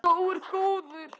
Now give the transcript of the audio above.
Sá er góður.